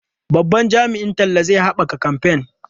Babban jami'in talla zai haɓaka kamfen.